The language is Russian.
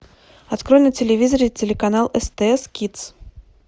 открой на телевизоре телеканал стс кидс